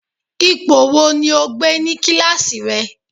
Ipò wo ni o gbé ní kíláàsì rẹ